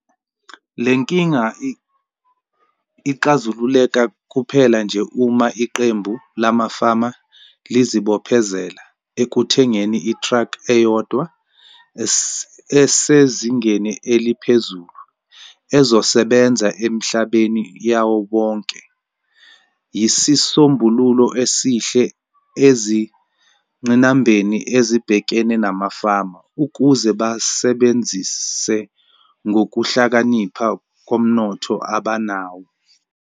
Le nkinga ixazululeka kuphela nje uma iqembu lamafama lizibophezela ekuthengeni itraki eyodwa esezingeni eliphezulu ezosebenza emihlabeni yabo bonke. Yisisombululo esihle ezinqinambeni ezibhekene namafama ukuze basebenzise ngokuhlakanipha ngomnotho abanawo.